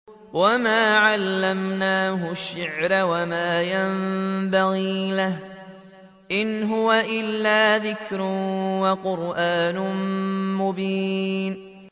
وَمَا عَلَّمْنَاهُ الشِّعْرَ وَمَا يَنبَغِي لَهُ ۚ إِنْ هُوَ إِلَّا ذِكْرٌ وَقُرْآنٌ مُّبِينٌ